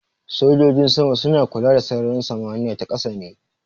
Sojojin sama suna kula da sararin samaniya ta ƙasa ne.